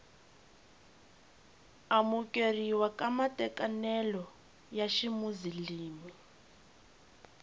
amukeriwa ka matekanelo ya ximuzilimi